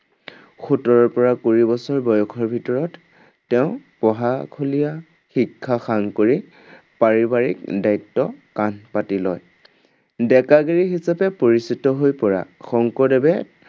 সোতৰৰ পৰা কুৰি বছৰ বয়সৰ ভিতৰত তেওঁ পঢ়াশলীয়া শিক্ষা সাং কৰি পাৰিবাৰিক দায়িত্ব কান্ধ পাতি লয়। ডেকাগিৰি হিচাপে পৰিচিত হৈ পৰা শংকৰদেৱে